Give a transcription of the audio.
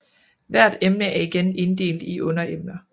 Hvert emne er igen inddelt i underemner